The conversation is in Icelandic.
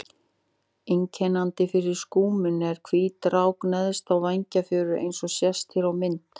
Einkennandi fyrir skúminn er hvít rák neðan á vængfjöðrum eins og sést hér á myndinni.